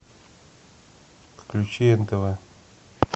включи нтв